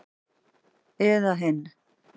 Eða hinn